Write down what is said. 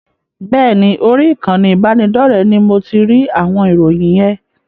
Bẹ́ẹ̀ ni, orí ìkànnì ìbánidọ́rẹ̀ẹ́ ní mo ti rí àwọn ìròyìn yen.